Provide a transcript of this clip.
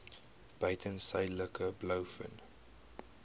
buiten suidelike blouvin